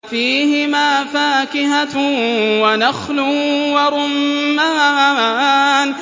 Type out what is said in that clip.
فِيهِمَا فَاكِهَةٌ وَنَخْلٌ وَرُمَّانٌ